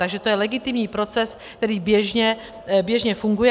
Takže to je legitimní proces, který běžně funguje.